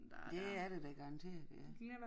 Det er det da garanteret ja